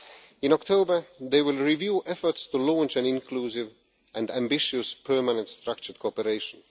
In October, they will review efforts to launch an inclusive and ambitious Permanent Structured Cooperation.